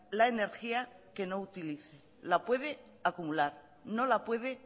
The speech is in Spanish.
la energía que no utilice la puede acumular no la puede